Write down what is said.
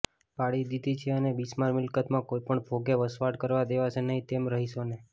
પાડી દીધી છે અને બિસ્માર મિલ્કતમાં કોઈ પણ ભોગે વસવાટ કરવા દેવાશે નહી તેમ રહીશોને